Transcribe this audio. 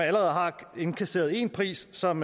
allerede har indkasseret en pris som